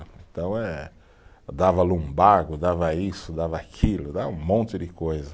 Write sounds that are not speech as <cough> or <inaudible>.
Então eh, dava, <unintelligible> dava isso, dava aquilo, dava um monte de coisa.